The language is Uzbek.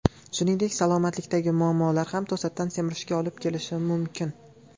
Shuningdek, salomatlikdagi muammolar ham to‘satdan semirishga olib kelishi mumkin.